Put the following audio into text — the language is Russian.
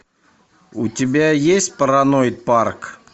у тебя есть параноид парк